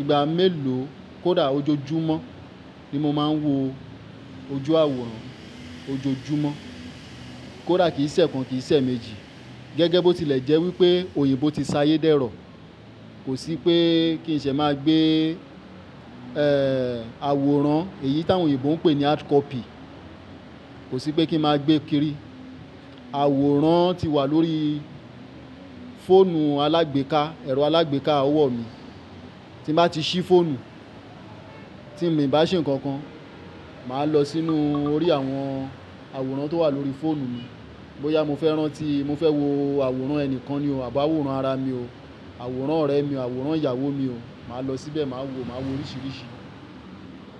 ìgbà mélòó, kódà ojoojúmọ́ ni mo máa ń wo ojú àwòrán ojoojúmọ́. Kódà kì í ṣe ẹ́ kan, kì í ṣe ẹ́ méjì, gẹ́gẹ́ bó ti lè jẹ́ wípé òyìnbó ti ṣayé dẹ́rọ̀. Kò sí pé kí n ṣe máa gbé, ẹ́ẹ́, àwòrán, èyí tí àwọn òyìnbó ń pè ní hardcopy, kò sí pé kí n máa gbé kiri. Àwòrán ti wà lórí fóònù alágbèéká, ẹ̀rọ alágbèéká ọwọ́ mi. Tí mo bá ti ṣí fóònù, tí mi ì bá ṣe nǹkan kan, máa lọ sínú orí àwọn àwòrán tó wà lórí fóònù mi. Bóyá mo fẹ́ rán tí, mo fẹ́ wo àwòrán ẹni kan ni o, àbi àwòrán ara mi o, àwòrán ọ̀rẹ́ mi o, àwòrán ìyàwó mi o, màá lọ síbẹ̀ máa wo, máa wo oríṣiríṣi.